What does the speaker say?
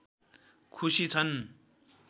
खुसी छन्